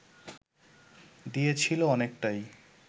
দিয়েছিল অনেকটাই